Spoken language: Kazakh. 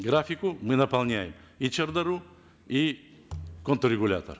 графику мы наполняем и шардару и контррегулятор